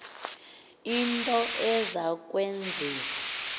into eza kwenziwa